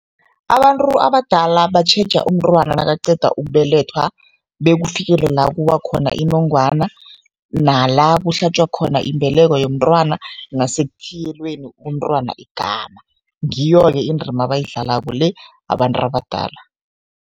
Abantu abadala batjheja umntwana nakaqeda ukubelethwa bekufikele la kuwa khona inongwana, nala kuhlatjwa khona imbeleko yomntwana nasekuthiyelweni umntwana igama, ngiyo-ke indima abayidlalako le abantu abadala.